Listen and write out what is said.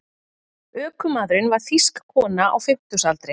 Ökumaðurinn var þýsk kona á fimmtugsaldri